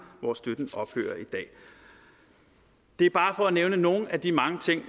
hvor støtten ophører i dag det er bare for at nævne nogle af de mange ting